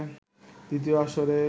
দ্বিতীয় আসরের